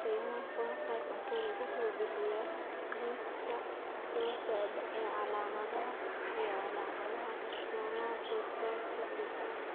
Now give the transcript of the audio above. The Human Phenotype Ontology wuxuu bixiyaa liiska soo socda ee calaamadaha iyo calaamadaha Stomatocytosis I.